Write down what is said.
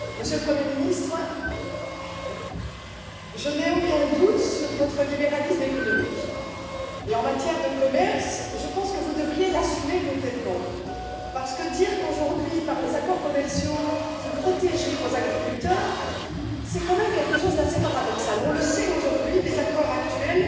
Monsieur le Président, Monsieur le Premier ministre, je n'ai aucun doute sur votre libéralisme économique. Et en matière de commerce, je pense que vous devriez l'assumer complètement parce que dire qu'aujourd'hui, par les accords commerciaux, vous protégez vos agriculteurs, c'est quand même quelque chose d'assez paradoxal. On le sait aujourd'hui, les accords actuels